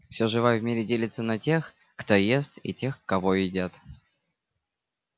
всё живое в мире делится на тех кто ест и тех кого едят